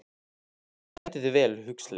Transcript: Þú stendur þig vel, Huxley!